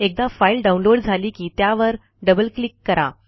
एकदा file download झाली की त्यावर डबल क्लिक करा